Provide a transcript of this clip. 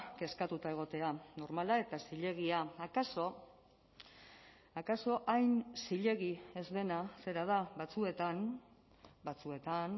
kezkatuta egotea normala eta zilegia akaso akaso hain zilegi ez dena zera da batzuetan batzuetan